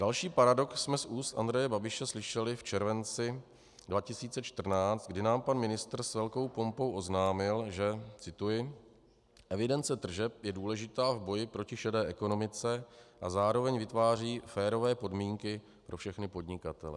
Další paradox jsme z úst Andreje Babiše slyšeli v červenci 2014, kdy nám pan ministr s velkou pompou oznámil, že - cituji: Evidence tržeb je důležitá v boji proti šedé ekonomice a zároveň vytváří férové podmínky pro všechny podnikatele.